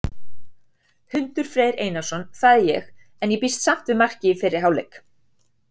Hundur Freyr Einarsson, það er ég. en ég býst samt við marki í fyrri hálfleik!